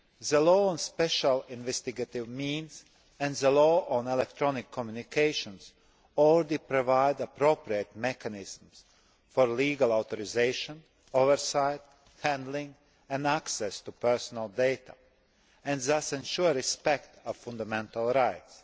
The Law on Special Investigative Means and the Law on Electronic Communications already provide appropriate mechanisms for legal authorisation, oversight, handling and access to personal data, and thus ensure respect of fundamental rights.